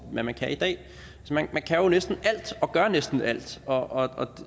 hvad man kan i dag man kan jo næsten alt og gør næsten alt og